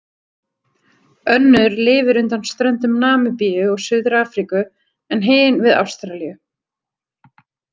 Önnur lifir undan ströndum Namibíu og Suður-Afríku en hin við Ástralíu.